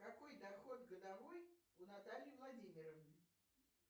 какой доход годовой у натальи владимировны